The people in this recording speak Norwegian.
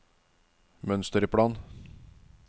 mønsterplan